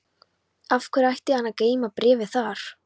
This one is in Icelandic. Af hverju ætti hann að geyma bréfið þar?